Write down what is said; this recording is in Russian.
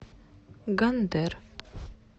гондэр